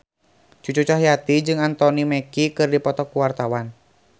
Cucu Cahyati jeung Anthony Mackie keur dipoto ku wartawan